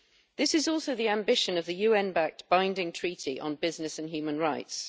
This is also the ambition of the UN backed Binding Treaty on business and human rights.